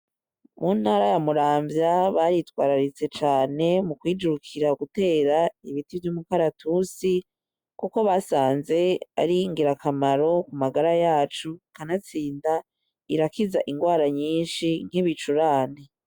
Mu ntara ya Muramvya baritwararitse cane mu kwijukira gutera ibiti vy´umukaratusi kuko basanze ari ingira kamaro ku magara yacu kanatsinda irakiza ingwara nyishi nk´ibicurane.